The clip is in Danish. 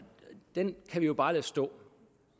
den kan vi jo bare lade stå